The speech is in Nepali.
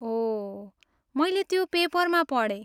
ओह, मैले त्यो पेपरमा पढेँ।